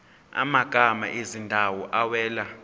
amagama ezindawo awela